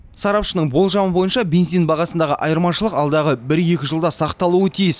сарапшының болжамы бойынша бензин бағасындағы айырмашылық алдағы бір екі жылда сақталуы тиіс